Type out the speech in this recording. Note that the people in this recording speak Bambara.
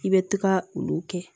I bɛ taga olu kɛ